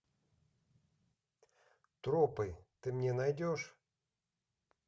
тропы ты мне найдешь